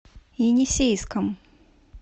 енисейском